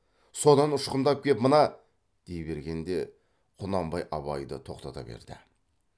содан ұшқындап кеп мына дей бергенде құнанбай абайды тоқтата берді